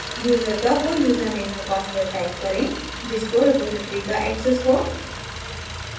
user का who username और password type करें जिसको रिपॉज़िटरी का access हो